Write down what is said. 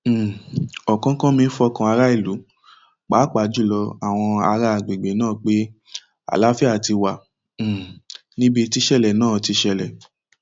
um ọkánkánmí fọkàn aráàlú pàápàá jù lọ àwọn ará àgbègbè náà pé àlàáfíà ti wà um níbi tíṣẹlẹ náà ti ṣẹlẹ